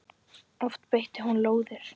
Oft beitti hún lóðir.